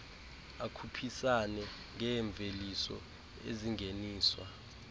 akhuphisane ngeemveliso ezingeniswa